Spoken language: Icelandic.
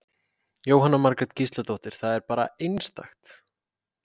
Jóhanna Margrét Gísladóttir: Það er bara einstakt?